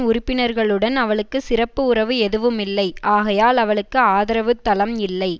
உறுப்பினர்களுடன் அவளுக்கு சிறப்பு உறவு எதுவுமில்லை ஆகையால் அவளுக்கு ஆதரவுத் தளம் இல்லை